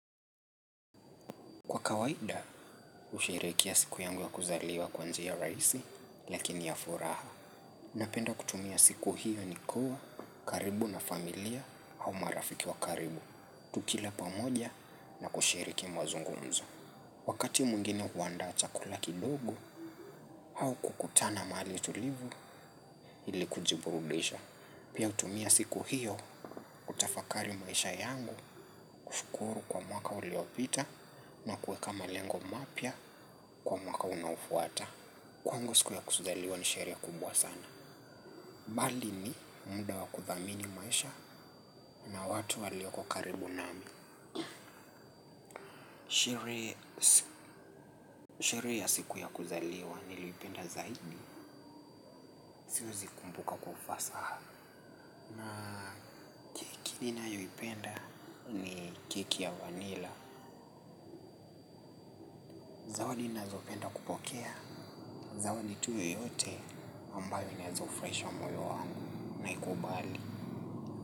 Kwa kawaida, usherehekea siku yangu ya kuzaliwa kwa njia raisi, lakini ya furaha. Napenda kutumia siku hiyo ni kuwa, karibu na familia au marafiki wa karibu, tukila pamoja na kushiriki mazungumzo. Wakati mwingine huandaa chakula kidogo, hau kukutana mahali tulivu, ili kujiburudisha. Pia utumia siku hiyo utafakari maisha yangu kushukuru kwa mwaka uliopita na kueka malengo mapya kwa mwaka unaofuata. Kwangu siku ya kuzaliwa ni sherehe kubwa sana. Bali ni muda wa kuthamini maisha na watu walioko karibu nami. Sherehe ya siku ya kuzaliwa niliipenda zaidi. Siwezi kumbuka kwa ufasaha. Zipenda ni keki ya vanila. Zawadi nazopenda kupokea. Zawadi tu yoyote ambayo naeza ufuraisha moyo wangu naikubali.